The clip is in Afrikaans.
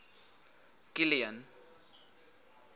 kilian